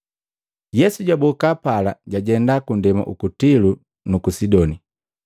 Yesu jaboka pala, jajenda kundema uku Tilo nuku Sidoni.